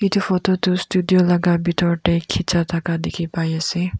etu photo tu studio laga bithor te khicha thaka dikhi pai ase.